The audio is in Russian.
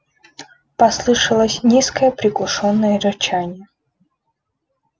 послышалось низкое приглушённое рычание